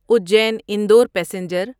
Ujjain Indore passenger